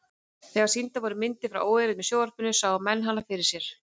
Þegar sýndar voru myndir frá óeirðum í sjónvarpinu sáu menn hana fyrir sér.